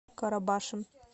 карабашем